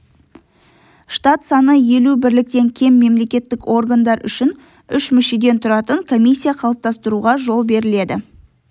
штат саны елу бірліктен кем мемлекеттік органдар үшін үш мүшеден тұратын комиссия қалыптастыруға жол беріледі